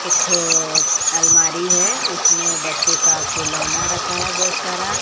एक ठो अलमारी है उसमें बच्चों का खिलौना रखा है बहोत सारा--